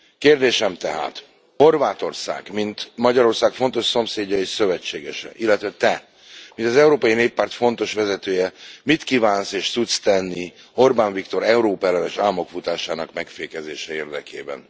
Kérdésem tehát Horvátország mint Magyarország fontos szomszédja és szövetségese, illetve Te mint az Európai Néppárt fontos vezetője, mit kívánsz és tudsz tenni Orbán Viktor Európa ellenes ámokfutásának megfékezése érdekében?